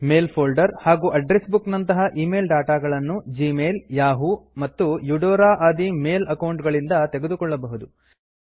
ಮೇಲ್ folder ಹಾಗೂ address book ನಂತಹ ಈ ಮೇಲ್ ಡಾಟಾ ಗಳನ್ನು ಜಿಮೇಲ್ ಜೀಮೇಲ್ ಯಹೂ ಯಾಹೂ ಮತ್ತು ಯುಡೋರಾ ಯುಡೋರಾ ಆದಿ ಮೇಲ್ ಅಕೌಂಟ್ ಗಳಿಂದ ತೆಗೆದುಕೊಳ್ಳಬಹುದು